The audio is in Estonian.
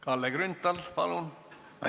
Kalle Grünthal, palun!